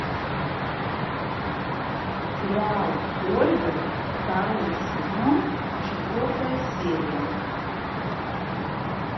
сериал ольга второй сезон четвертая серия